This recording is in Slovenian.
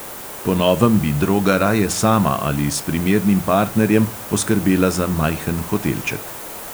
Po novem bi droga raje sama ali s primernim partnerjem poskrbela za majhen hotelček.